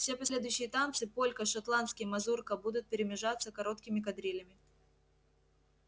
все последующие танцы полька шотландский мазурка будут перемежаться короткими кадрилями